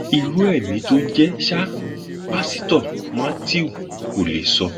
irú ẹmí tó jẹ sáà pásítọ matthew kò lè sọ